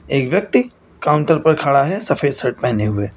एक व्यक्ति काउंटर पर खड़ा है सफेद शर्ट पहने हुए।